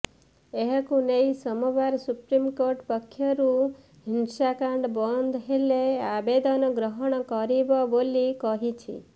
ଏହାକୁ ନେଇ ସୋମବାର ସୁପ୍ରିମକୋର୍ଟ ପକ୍ଷରୁ ହିଂସାକାଣ୍ଡ ବନ୍ଦ ହେଲେ ଆବେଦନ ଗ୍ରହଣ କରିବ ବୋଲି କହିଛି